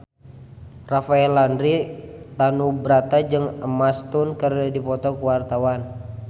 Rafael Landry Tanubrata jeung Emma Stone keur dipoto ku wartawan